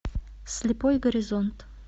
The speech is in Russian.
слепой горизонт